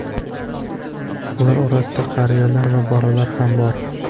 Ular orasida qariyalar va bolalar ham bor.